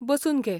बसून घे.